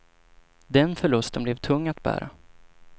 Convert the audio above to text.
Den förlusten blev för tung att bära.